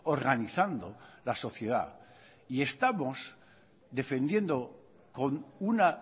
organizando la sociedad y estamos defendiendo con una